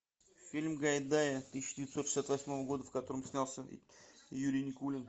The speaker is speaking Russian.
фильм гайдая тысяча девятьсот шестьдесят восьмого года в котором снялся юрий никулин